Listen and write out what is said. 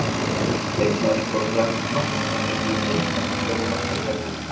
Leikmaður skorar glæsilegt mark og það gæti verið dómnefnd sem velur mark helgarinnar.